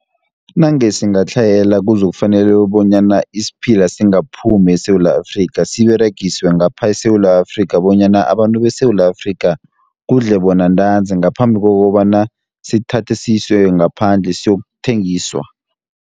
Nange singatlhayela kuzokufanele bonyana, isiphila singaphumi eSewula Afrika. Siberegiswe ngaphe eSewula Afrika bonyana, abantu beSewula Afrika kudle bona ntanzi, ngaphambi kokobana sithathe siswe ngaphandle siyokuthengiswa.